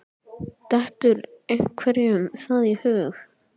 Dettur einhverjum það í hug?